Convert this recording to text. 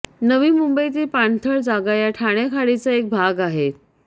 नवी मुंबईतील पाणथळ जागा या ठाणे खाडीचा एक भाग आहेत